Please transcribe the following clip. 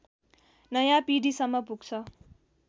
नयाँ पिढीसम्म पुग्छ